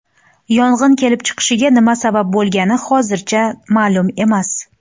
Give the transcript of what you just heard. Yong‘in kelib chiqishiga nima sabab bo‘lgani hozircha ma’lum emas.